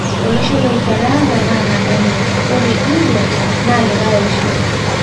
Olosho le Ufaransa na nabo enye ore India na likae osho.